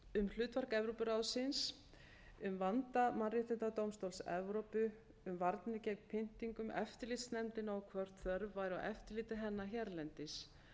um hlutverk evrópuráðsins um vanda mannréttindadómstóls evrópu um varnir gegn pyndingum eftirlitsnefndina og hvort þörf væri á eftirliti hennar hérlendis